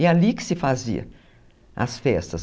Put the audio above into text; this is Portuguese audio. É ali que se fazia as festas.